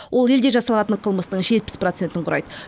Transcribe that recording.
ол елде жасалатын қылмыстың жетпіс процентін құрайды